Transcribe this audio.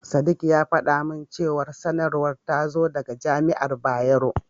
Sadik ya faɗa min cewa sanarwar ta zo daga Jami'ar Bayero.